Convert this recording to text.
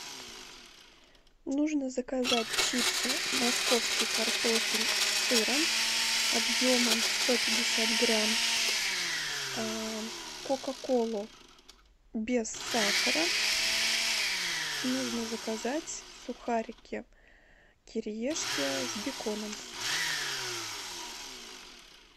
нужно заказать чипсы московский картофель с сыром объемом сто пятьдесят грамм кока колу без сахара нужно заказать сухарики кириешки с беконом